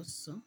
ọ̀sán.